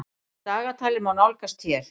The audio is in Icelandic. Dagatalið má nálgast hér.